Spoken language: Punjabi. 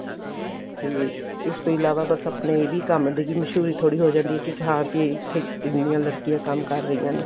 ਤੇ ਇਸ ਤੋਂ ਇਲਾਵਾ ਬੱਸ ਆਪਣੇ ਇਹ ਵੀ ਕੰਮ ਦੀ ਮਸ਼ੁਹਰੀ ਥੋੜੀ ਹੋ ਜਾਂਦੀ ਏ ਕੀ ਹਾਂ ਬੀ ਇੱਥੇ ਇੰਨੀਆਂ ਲੜਕੀਆਂ ਕੰਮ ਕਰ ਰਹੀਆਂ ਨੇ